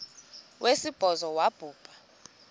wesibhozo wabhu bha